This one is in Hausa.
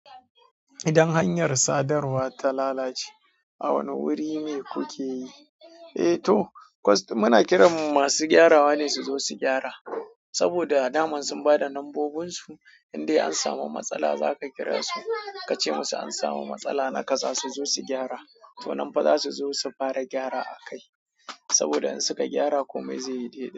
Idan hanyar sadarwa ta lalace, a wane wuri ne kuke yi? Eh toh, muna kiran masu gyarawa ne su zo su gyara. Saboda daman sun ba da nambobinsu, idai an samu matsala za ka kira su. Ka ce musu an samu matsala na kaza su zo su gyara. To nan fa za su zo su fara gyara a kai. Saboda in suka gyara komai zai yi daidai.